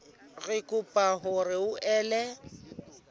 re kopa hore o ele